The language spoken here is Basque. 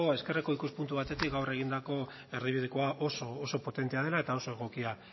ezkerreko ikuspuntu batetik gaur egindako erdibidekoa oso oso potentea dela eta oso egokia